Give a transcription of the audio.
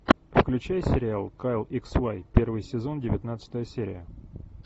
включай сериал кайл икс вай первый сезон девятнадцатая серия